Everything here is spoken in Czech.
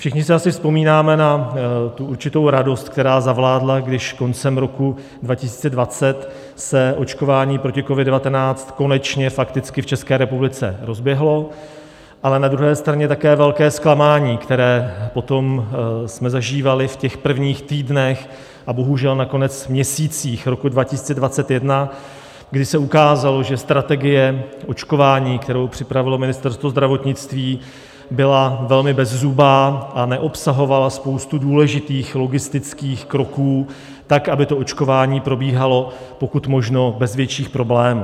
Všichni si asi vzpomínáme na tu určitou radost, která zavládla, když koncem roku 2020 se očkování proti COVID-19 konečně fakticky v České republice rozběhlo, ale na druhé straně také velké zklamání, které potom jsme zažívali v těch prvních týdnech a bohužel nakonec měsících roku 2021, kdy se ukázalo, že strategie očkování, kterou připravilo Ministerstvo zdravotnictví, byla velmi bezzubá a neobsahovala spoustu důležitých logistických kroků, tak aby to očkování probíhalo pokud možno bez větších problémů.